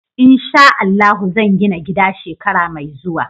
In sha Allahu zan gina gida shekara mai zuwa.